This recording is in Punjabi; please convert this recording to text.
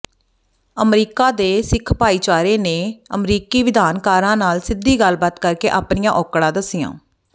ਅਮਰੀਕਾ ਦੇ ਸਿੱਖ ਭਾਈਚਾਰੇ ਨੇ ਅਮਰੀਕੀ ਵਿਧਾਨਕਾਰਾਂ ਨਾਲ ਸਿੱਧੀ ਗੱਲਬਾਤ ਕਰਕੇ ਆਪਣੀਆਂ ਔਕੜਾ ਦੱਸੀਆਂ